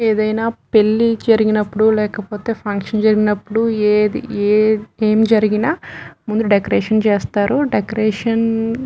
ఏదైనా పెళ్లి జరిగినపుడు లేకపోతే ఫంక్షన్ జరిగినపుడు ఏది ఏమి జరిగిన ముందు డెకరేషన్ చేస్తారుడెకరేషన్ .